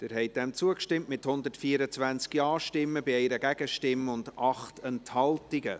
Sie haben dem zugestimmt, mit 124 Ja- gegen 1 Nein-Stimme bei 8 Enthaltungen.